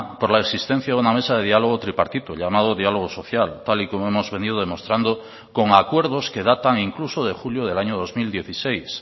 por la existencia de una mesa de diálogo tripartito llamado dialogo social tal y como hemos venido demostrando con acuerdos que datan incluso de julio del año dos mil dieciséis